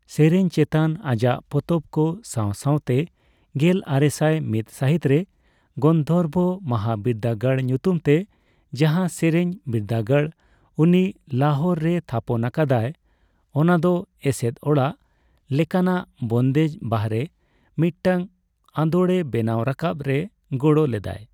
ᱥᱮᱨᱮᱧ ᱪᱮᱛᱟᱱ ᱟᱡᱟᱜ ᱯᱚᱛᱚᱵᱠᱚ ᱥᱟᱣ ᱥᱟᱣᱛᱮ ᱜᱮᱞ ᱟᱨᱮᱥᱟᱭ ᱢᱤᱛ ᱥᱟᱹᱦᱤᱛ ᱨᱮ ᱜᱟᱱᱫᱷᱚᱨᱵᱚ ᱢᱚᱦᱟᱵᱤᱨᱫᱟᱹᱜᱟᱲ ᱧᱩᱛᱩᱢᱛᱮ ᱡᱟᱦᱟᱸ ᱥᱮᱨᱮᱧ ᱵᱤᱨᱫᱟᱹᱜᱟᱲᱫᱚ ᱩᱱᱤ ᱞᱟᱦᱳᱨ ᱨᱮᱭ ᱛᱷᱟᱯᱚᱱ ᱟᱠᱟᱫᱟᱭ, ᱚᱱᱟᱫᱚ ᱮᱥᱮᱫ ᱚᱲᱟᱜ ᱞᱮᱠᱟᱱᱟᱜ ᱵᱚᱱᱫᱮᱡᱽ ᱵᱟᱨᱦᱮ ᱢᱤᱫᱴᱟᱝ ᱟᱸᱫᱳᱲᱮ ᱵᱮᱱᱟᱣ ᱨᱟᱠᱟᱵ ᱨᱮ ᱜᱚᱲᱚ ᱞᱮᱫᱟᱭ ᱾